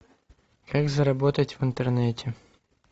как заработать в интернете